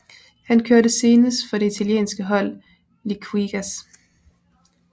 Han kørte senest for det italienske hold Liquigas